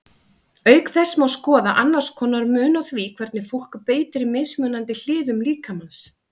Auk þessa má skoða annars konar mun á því hvernig fólk beitir mismunandi hliðum líkamans.